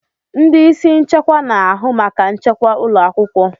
Ndị isi nchekwa na-ahụ maka nchekwa ụlọ akwụkwọ.